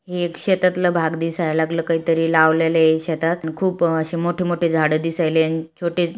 ही एक शेतातल भाग दिसाय लागल काही तरी लावलेल आहे शेतात खूप आशे मोठ-मोठे झाड दिसायलाय आणि छोटे-- अन छोटे--